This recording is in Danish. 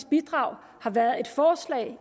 bidrag har været et forslag